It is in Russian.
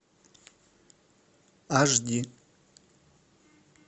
аш ди